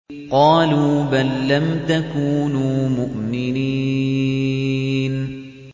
قَالُوا بَل لَّمْ تَكُونُوا مُؤْمِنِينَ